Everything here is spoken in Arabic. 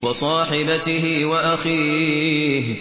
وَصَاحِبَتِهِ وَأَخِيهِ